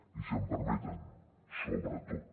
i si m’ho permeten sobretot